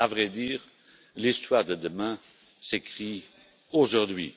À vrai dire, l'histoire de demain s'écrit aujourd'hui.